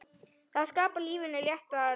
Það skapar lífinu léttan tón.